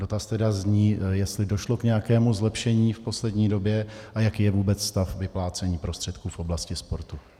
Dotaz tedy zní, jestli došlo k nějakému zlepšení v poslední době a jaký je vůbec stav vyplácení prostředků v oblasti sportu.